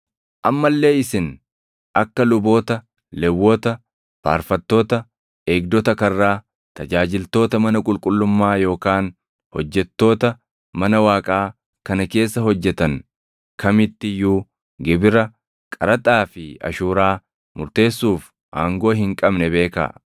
Amma illee isin akka luboota, Lewwota, faarfattoota, eegdota karraa, tajaajiltoota mana qulqullummaa yookaan hojjettoota mana Waaqaa kana keessa hojjetan kamitti iyyuu gibira, qaraxaa fi ashuuraa murteessuuf aangoo hin qabne beekaa.